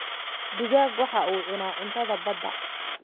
Digaag waxa uu cunaa cuntada badda